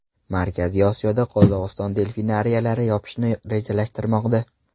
Markaziy Osiyoda Qozog‘iston delfinariylarni yopishni rejalashtirmoqda.